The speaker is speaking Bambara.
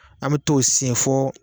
An bɛ t'o siɲe fɔ.